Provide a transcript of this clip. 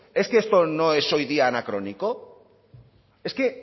es que esto no es hoy día anacrónico es que